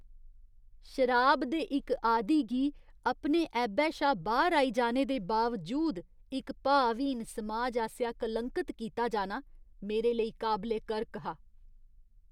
शराब दे इक आदी गी अपने ऐबै शा बाह्‌र आई जाने दे बावजूद इक भावहीन समाज आसेआ कलंकत कीता जाना मेरे लेई काबले करक हा।